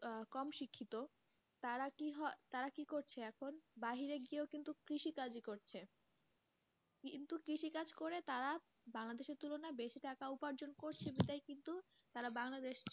আহ কম শিক্ষিত তারা কি হয় তারা কি করছে এখন বাহিরে গিয়েও কিন্তু কৃষি কাজই করছে কিন্তু কৃষি কাজ করে তারা বাংলাদেশের তুলনায় বাসি টাকা উপার্জন করছে কিন্তু তারা বাংলাদেশে,